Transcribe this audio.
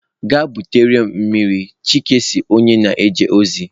Gaa butere m mmiri chike si onye na-eje ozi.